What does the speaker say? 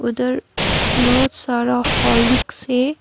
उधर बहुत सारा हॉर्लिक्स है।